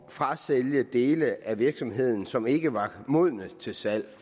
frasælge dele af virksomheden som ikke var modne til salg